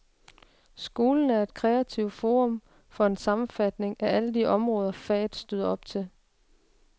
Skolen er et kreativt forum for en sammenfatning af alle de områder, faget støder op til.